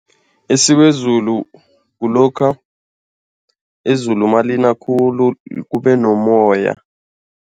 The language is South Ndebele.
Isiwezulu kulokha izulu malina khulu kube nomoya.